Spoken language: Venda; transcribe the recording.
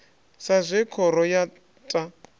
sa zwe khoro ya ta